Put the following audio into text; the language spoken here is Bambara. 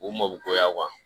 U mɔ koya